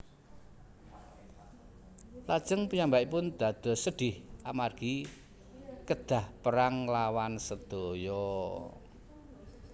Lajeng piyambakipun dados sedhih amargi kedhah perang nglawan sedaya